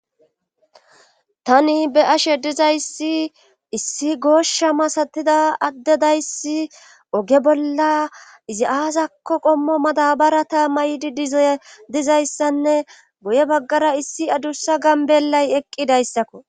tani be'ashe dizayssi issi gooshsha masatida adde dayssi oge bolla izi aasakko qommo mada barata mayidi dizayssanne goye baggara issi adussa gambellay eqqidayssakko